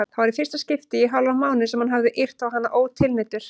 Það var í fyrsta skipti í hálfan mánuð sem hann hafði yrt á hana ótilneyddur.